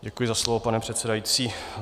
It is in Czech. Děkuji za slovo, pane předsedající.